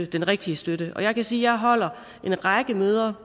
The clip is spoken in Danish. den rigtige støtte jeg kan sige at jeg holder en række møder